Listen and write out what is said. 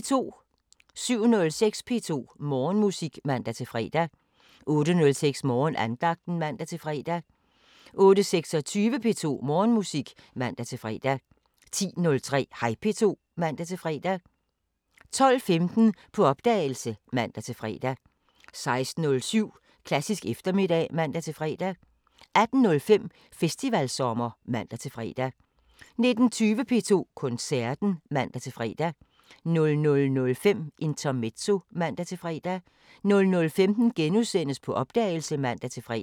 07:06: P2 Morgenmusik (man-fre) 08:06: Morgenandagten (man-fre) 08:26: P2 Morgenmusik (man-fre) 10:03: Hej P2 (man-fre) 12:15: På opdagelse (man-fre) 16:07: Klassisk eftermiddag (man-fre) 18:05: Festivalsommer (man-fre) 19:20: P2 Koncerten (man-fre) 00:05: Intermezzo (man-fre) 00:15: På opdagelse *(man-fre)